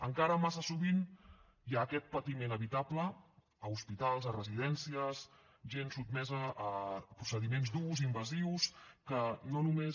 encara massa sovint hi ha aquest patiment evitable a hospitals a residències gent sotmesa a procediments durs invasius que no només